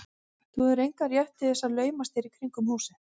Þú hefur engan rétt til að laumast hér í kringum húsið.